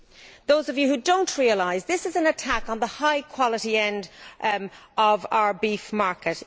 For those of you who do not realise it, this is an attack on the high quality end of our beef market.